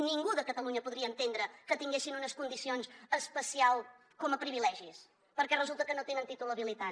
ningú de catalunya podria entendre que tinguessin unes condicions especials com a privilegis perquè resulta que no tenen títol habilitant